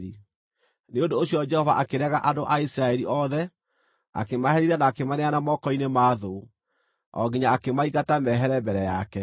Nĩ ũndũ ũcio Jehova akĩrega andũ a Isiraeli othe, akĩmaherithia na akĩmaneana moko-inĩ ma thũ, o nginya akĩmaingata mehere mbere yake.